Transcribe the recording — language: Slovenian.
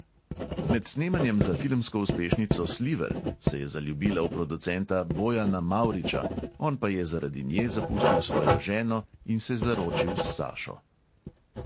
Med snemanjem za filmsko uspešnico sliver se je zaljubila v producenta bojana mavriča, on pa je zaradi nje zapustil svojo ženo in se zaročil s sašo.